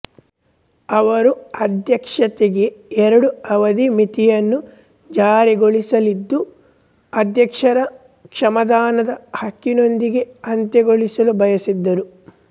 ಅವರು ಅಧ್ಯಕ್ಷತೆಗೆ ಎರಡುಅವಧಿ ಮಿತಿಯನ್ನು ಜಾರಿಗೊಳಿಸಲಿದ್ದು ಅಧ್ಯಕ್ಷರ ಕ್ಷಮಾದಾನದ ಹಕ್ಕಿನೊಂದೊಗೆ ಅಂತ್ಯಗೊಳಿಸಲು ಬಯಸಿದ್ದರು